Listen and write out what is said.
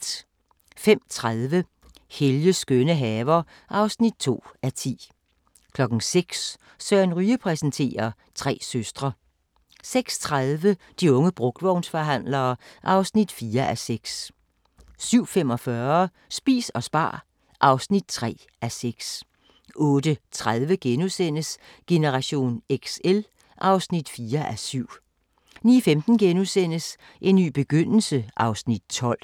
05:30: Helges skønne haver (2:10) 06:00: Søren Ryge præsenterer: Tre søstre 06:30: De unge brugtvognsforhandlere (4:6) 07:45: Spis og spar (3:6) 08:30: Generation XL (4:7)* 09:15: En ny begyndelse (Afs. 12)*